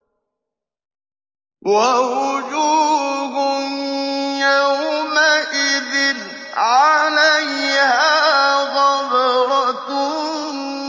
وَوُجُوهٌ يَوْمَئِذٍ عَلَيْهَا غَبَرَةٌ